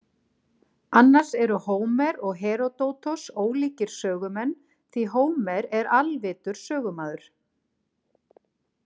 Annars eru Hómer og Heródótos ólíkir sögumenn því Hómer er alvitur sögumaður.